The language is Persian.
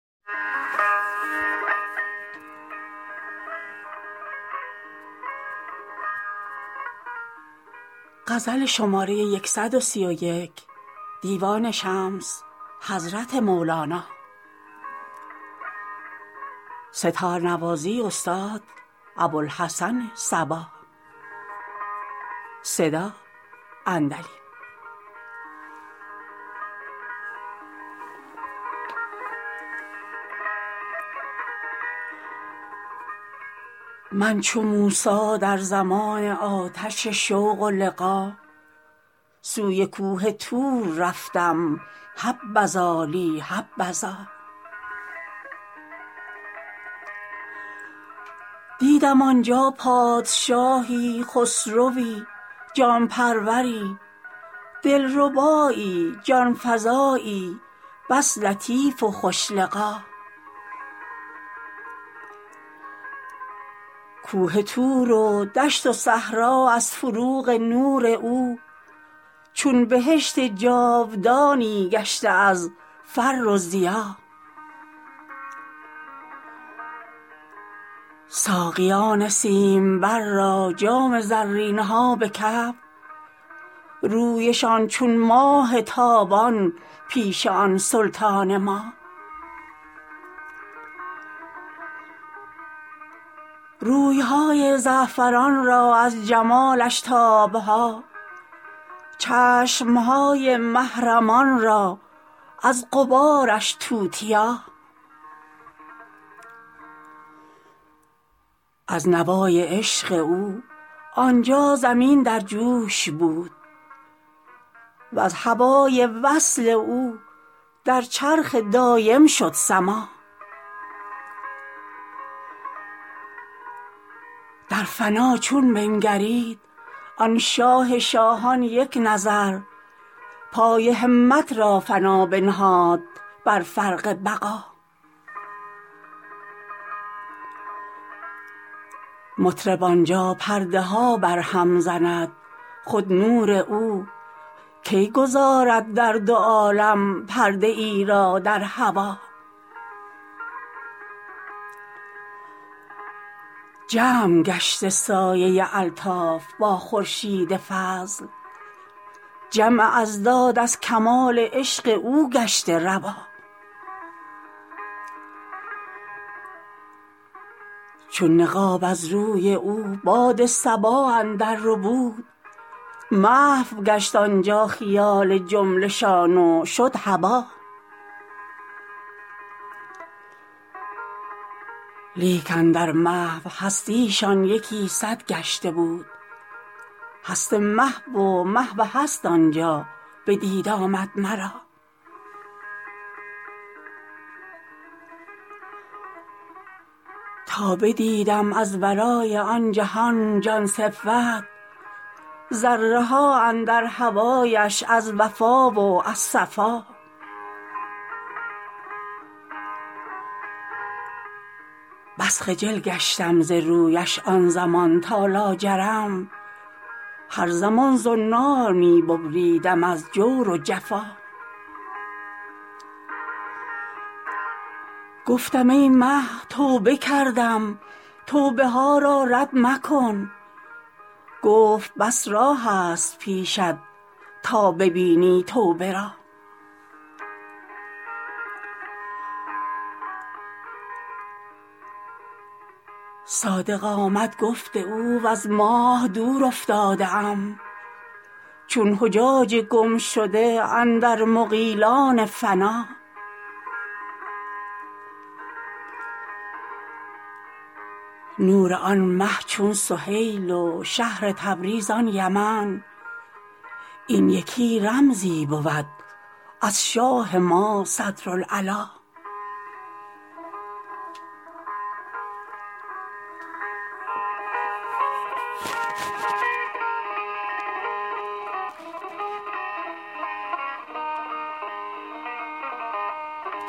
من چو موسی در زمان آتش شوق و لقا سوی کوه طور رفتم حبذا لی حبذا دیدم آن جا پادشاهی خسروی جان پروری دلربایی جان فزایی بس لطیف و خوش لقا کوه طور و دشت و صحرا از فروغ نور او چون بهشت جاودانی گشته از فر و ضیا ساقیان سیمبر را جام زرین ها به کف رویشان چون ماه تابان پیش آن سلطان ما روی های زعفران را از جمالش تاب ها چشم های محرمان را از غبارش توتیا از نوای عشق او آن جا زمین در جوش بود وز هوای وصل او در چرخ دایم شد سما در فنا چون بنگرید آن شاه شاهان یک نظر پای همت را فنا بنهاد بر فرق بقا مطرب آن جا پرده ها بر هم زند خود نور او کی گذارد در دو عالم پرده ای را در هوا جمع گشته سایه الطاف با خورشید فضل جمع اضداد از کمال عشق او گشته روا چون نقاب از روی او باد صبا اندرربود محو گشت آن جا خیال جمله شان و شد هبا لیک اندر محو هستی شان یکی صد گشته بود هست محو و محو هست آن جا بدید آمد مرا تا بدیدم از ورای آن جهان جان صفت ذره ها اندر هوایش از وفا و از صفا بس خجل گشتم ز رویش آن زمان تا لاجرم هر زمان زنار می ببریدم از جور و جفا گفتم ای مه توبه کردم توبه ها را رد مکن گفت بس راهست پیشت تا ببینی توبه را صادق آمد گفت او وز ماه دور افتاده ام چون حجاج گمشده اندر مغیلان فنا نور آن مه چون سهیل و شهر تبریز آن یمن این یکی رمزی بود از شاه ما صدرالعلا